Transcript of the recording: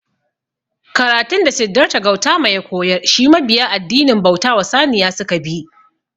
Karatun da Siddarta Gautama ya koyar shi mabiya addinin bauta wa Saniya suka bi